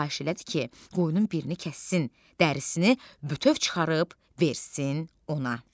Xahiş elədi ki, qoyunun birini kəssin, dərisini bütöv çıxarıb versin ona.